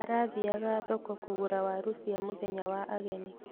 Arathiaga thoko kũgũra waru cia mũthenya wa ageni